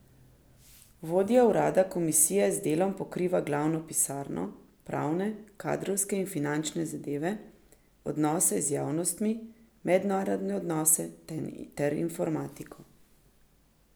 Vodja urada komisije z delom pokriva glavno pisarno, pravne, kadrovske in finančne zadeve, odnose z javnostmi, mednarodne odnose ter informatiko.